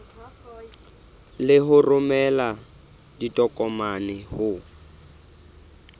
le ho romela ditokomane ho